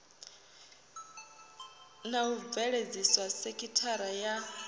na u bveledzisa sekithara ya